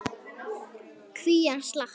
Kvígan slapp.